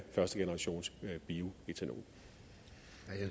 førstegenerationsbioætanol som jo